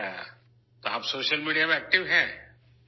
جی ہاں...! تو کیا آپ سوشل میڈیا پر ایکٹو ہیں؟